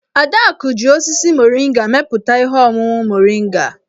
Adaku ji osisi moringa mepụta ihe ọṅụṅụ moringa.